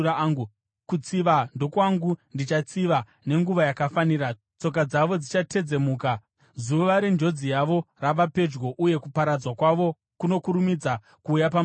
Kutsiva ndokwangu; ndichatsiva. Nenguva yakafanira tsoka dzavo dzichatedzemuka; zuva renjodzi yavo rava pedyo uye kuparadzwa kwavo kunokurumidza kuuya pamusoro pavo.”